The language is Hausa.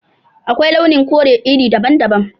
Akwai launin kore iri daban-daban